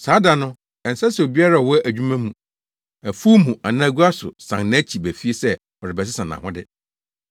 Saa da no, ɛnsɛ sɛ obiara a ɔwɔ adwuma mu, afuw mu anaa gua so san nʼakyi ba fie sɛ ɔrebɛsesa nʼahode.